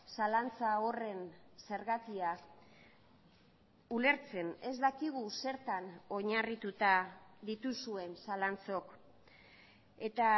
zalantza horren zergatia ulertzen ez dakigu zertan oinarrituta dituzuen zalantzok eta